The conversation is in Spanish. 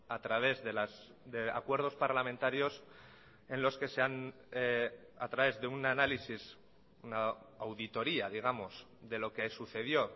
a través de acuerdos parlamentarios en los que se han a través de un análisis una auditoría digamos de lo que sucedió